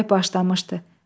Külək başlamışdı.